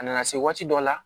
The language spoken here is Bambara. A nana se waati dɔ la